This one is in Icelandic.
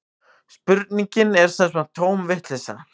Spurningin er sem sagt tóm vitleysa